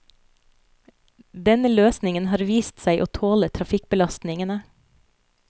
Denne løsningen har vist seg å tåle trafikkbelastningene.